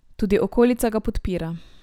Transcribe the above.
Tudi okolica ga podpira.